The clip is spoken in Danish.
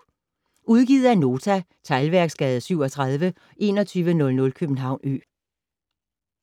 Udgivet af Nota Teglværksgade 37 2100 København Ø